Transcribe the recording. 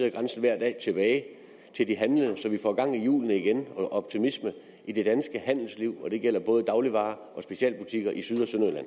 af grænsen hver dag tilbage til de handlende så vi får gang i hjulene igen og optimisme i det danske handelsliv og det gælder både dagligvarer og specialbutikker i syd